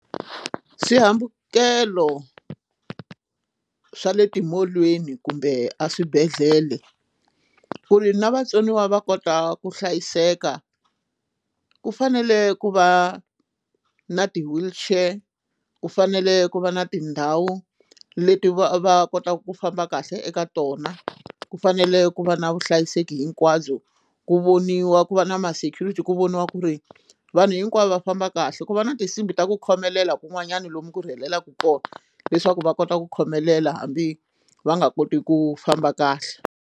Swihambukelo swa le timolweni kumbe eswibedhlele ku ri na vatsoniwa va kota ku hlayiseka ku fanele ku va na ti wheelchair ku fanele ku va na tindhawu leti va kotaka ku famba kahle eka tona ku fanele ku va na vuhlayiseki hinkwabyo ku voniwa ku va na ma security ku voniwa ku ri vanhu hinkwavo va famba kahle ku va na tinsimbhi ta ku khomelela kun'wanyana lomu ku rhelelaka kona leswaku va kota ku khomelela hambi va nga koti ku famba kahle.